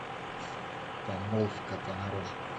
помолвка понарошку